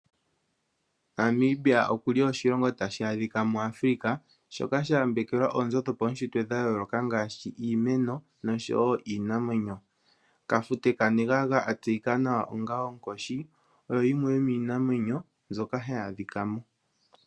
Namibia oshilongo tashi adhika mu Afrika shoka sha yambekelwa oonzo dho pawushitwe dha yooloka ngaashi iimeno nosho woo Kafute kanegaga atseyika nawa onga onkoshi. Oyo yimwe yo miinamwenyo mbyoka hayaadhika mo.